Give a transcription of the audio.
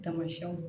Tamasiyɛnw